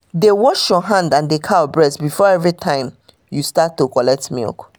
dey wash your hand and the cow breast before everytime you start to collect milk